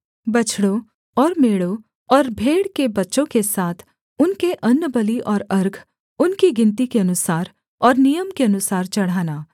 बछड़ों और मेढ़ों और भेड़ के बच्चों के साथ उनके अन्नबलि और अर्घ उनकी गिनती के अनुसार और नियम के अनुसार चढ़ाना